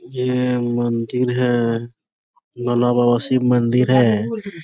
यह मंदिर है भोला बाबा शिव मंदिर है।